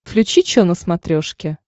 включи че на смотрешке